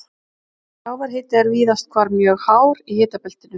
Sjávarhiti er víðast hvar mjög hár í hitabeltinu.